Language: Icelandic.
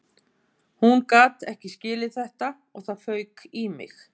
Hún gat ekki skilið þetta og það fauk í mig